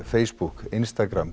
Facebook